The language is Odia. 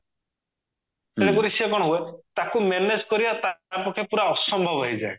ତାପରେ ସିଏ କଣ ହୁଏ ତାକୁ manage କରିବା ତା ପକ୍ଷେ ପୁରା ଅସମ୍ଭବ ହେଇଯାଏ